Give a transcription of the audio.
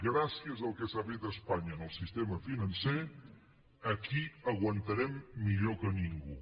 gràcies al que s’ha fet a espanya en el sistema financer aquí aguantarem millor que ningú